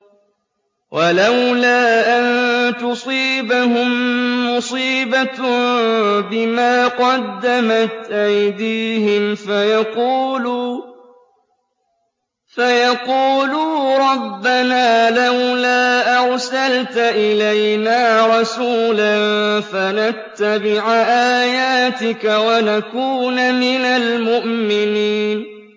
وَلَوْلَا أَن تُصِيبَهُم مُّصِيبَةٌ بِمَا قَدَّمَتْ أَيْدِيهِمْ فَيَقُولُوا رَبَّنَا لَوْلَا أَرْسَلْتَ إِلَيْنَا رَسُولًا فَنَتَّبِعَ آيَاتِكَ وَنَكُونَ مِنَ الْمُؤْمِنِينَ